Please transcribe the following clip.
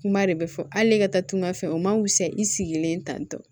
Kuma de bɛ fɔ hali ne ka taagan fɛ o ma wusa i sigilen tan